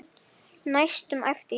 næstum æpti Jói.